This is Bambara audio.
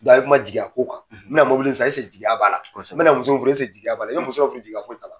a ye kuma jigiya ko kan. N bɛ na mɔbili san jigiya b'a la? N bɛ na muso furu jigiya b'a la ? I bɛ muso dɔw furu i b'a sɔrɔ jigiya foyi t'a la.